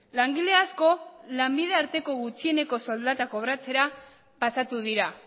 langile askol lanbide arteko gutxieneko soldata kobratzera pasatu dira